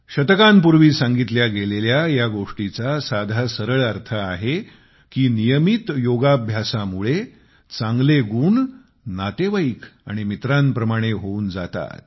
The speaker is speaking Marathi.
शतकांपूर्वी सांगितल्या गेलेल्या या गोष्टीचा सरळ साधा अर्थ आहे की नियमित योगाभ्यासामुळे चांगले गुण नातेवाईक आणि मित्रांप्रमाणे होऊन जातात